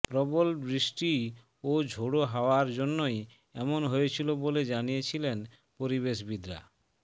প্রবল বৃষ্টি ও ঝোড়ো হাওয়ার জন্যই এমন হয়েছিল বলে জানিয়ে ছিলেন পরিবেশবিদরা